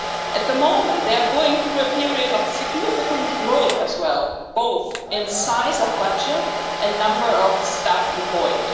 At the moment, they are going through a period of significant growth as well, both in size of budget and number of staff employed.